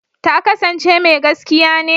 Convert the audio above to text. Ta kasance mai gaskiya ne?